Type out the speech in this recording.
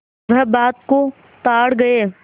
वह बात को ताड़ गये